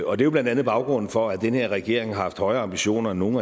og det er blandt andet baggrunden for at den her regering har haft højere ambitioner end nogen